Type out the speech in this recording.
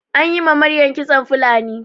Anyi ma Maryam kitson Fulani